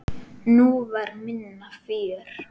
Nú var minna fjör.